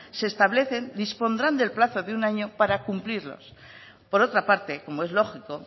se establecen dispondrán del plazo de un año para cumplirlos por otra parte como es lógico